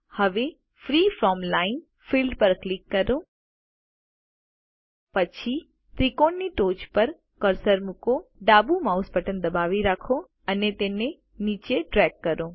હવે freeform line field પર click કરો પછી ત્રિકોણની ટોચ પર કર્સર મુકો ડાબુ માઉસ બટન દબાવી રાખો અને તેને નીચે ડ્રેગ કરો